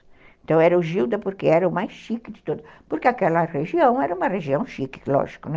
Então, era o Gilda porque era o mais chique de todos, porque aquela região era uma região chique, lógico, né?